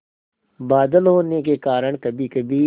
बादल होने के कारण कभीकभी